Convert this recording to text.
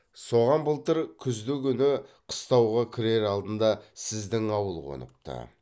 соған былтыр күздігүні қыстауға кірер алдында сіздің ауыл қоныпты